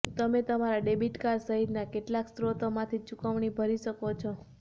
તમે તમારા debit card સહિતના કેટલાક સ્રોતોમાંથી ચૂકવણી ભરી શકો છો